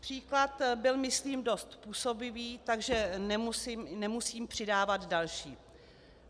Příklad byl myslím dost působivý, takže nemusím přidávat další.